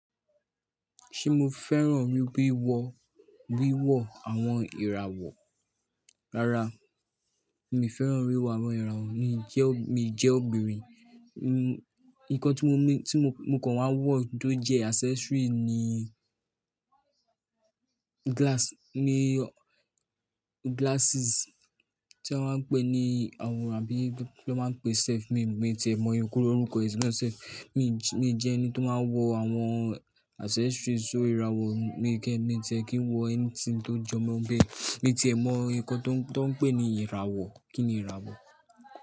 Ṣé mo fẹ́ràn rí wíwọ, wíwọ àwọn ìràwọ̀? Rárá, mi ò fẹ́ràn wíwọ àwọn ìràwọ̀. Mi jẹ́, mi jẹ́ obìnrin. N, nnkan tí mo mi, tí mo kàn wá wọ̀ tó jẹ́ accessory ni glass, Míírọ̀ glasses tí wọ́n máa ń pè ní àwọ̀ ràbí ló máa ń pè safe. Mi ò mọ̀, mi ò tẹ ẹ̀ mọ̀ yín kúrò orúkọ ìdí tí wọ́n ń pè ẹ́ safe. Mi jẹ́ ẹni tó máa ń wọ àwọn accessories orí irawọ̀. Mi kẹ́, mi tẹ ki n wọ ẹni tí ń tó jọmọ́ bẹ́ẹ̀ Mi ti ẹ̀ mọ̀ nǹkan tó ń pè ní ìràwọ̀. Kí ni ìràwọ̀?